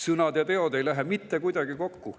Sõnad ja teod ei lähe mitte kuidagi kokku.